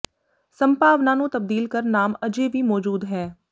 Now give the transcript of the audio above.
ਸੰਭਾਵਨਾ ਨੂੰ ਤਬਦੀਲ ਕਰ ਨਾਮ ਅਜੇ ਵੀ ਮੌਜੂਦ ਹੈ